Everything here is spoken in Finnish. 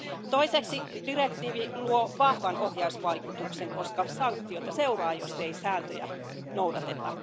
Toiseksi direktiivi luo vahvan ohjausvaikutuksen, koska sanktioita seuraa, jos ei sääntöjä noudateta.